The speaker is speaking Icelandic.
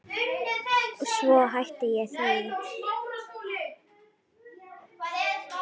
En svo hætti ég því.